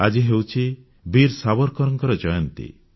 ଆଜି ହେଉଛି ବୀର ସାବରକରଙ୍କ ଜୟନ୍ତୀ